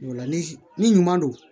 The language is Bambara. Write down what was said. Ni ɲuman don